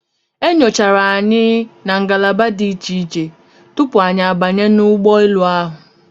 E nyochara anyi na ngalaba dị iche iche tupu anyị a banye n'ụgbọ elu ahụ.